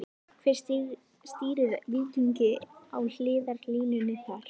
Hver stýrir Víkingi á hliðarlínunni þar?